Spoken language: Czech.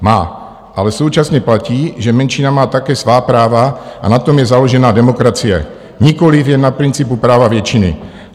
"Má, ale současně platí, že menšina má také svá práva, a na tom je založená demokracie, nikoliv jen na principu práva většiny.